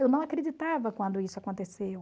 Eu não acreditava quando isso aconteceu.